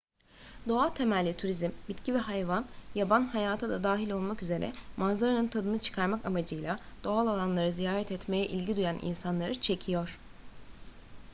doğa temelli turizm bitki ve hayvan yaban hayatı da dahil olmak üzere manzaranın tadını çıkarmak amacıyla doğal alanları ziyaret etmeye ilgi duyan insanları çekiyor